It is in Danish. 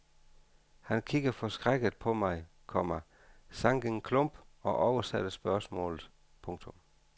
Han kiggede forskrækket på mig, komma sank en klump og oversatte spørgsmålet. punktum